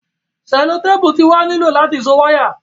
selotepu ti wa ni lo lati so waya